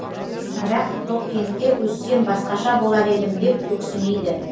бірақ тоқкентте өссем басқаша болар едім деп өксімейді